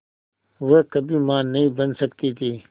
वह कभी मां नहीं बन सकती थी